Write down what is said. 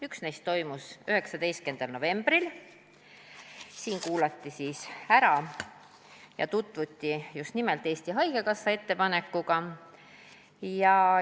Üks neist toimus 19. novembril, siis kuulatigi siin ära Eesti Haigekassa ettepanek.